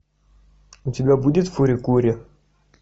у тебя будет фури кури